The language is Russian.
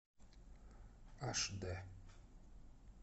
аш дэ